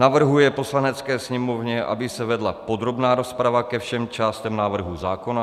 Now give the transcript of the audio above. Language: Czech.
navrhuje Poslanecké sněmovně, aby se vedla podrobná rozprava ke všem částem návrhu zákona;